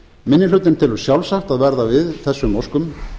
minni hlutinn telur sjálfsagt að verða við þessum óskum